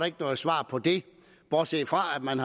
ikke noget svar på det bortset fra at man